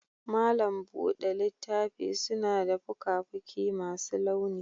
malam buɗe littafi suna da fuka-fuki masu launi.